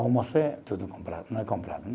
Almoço é tudo comprado, não é comprado, né?